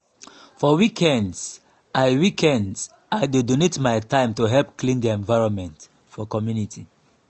for weekends i weekends i dey donate my time to help clean di environment for community.